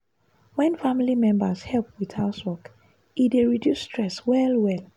wen family members help with housework e dey reduce stress well well.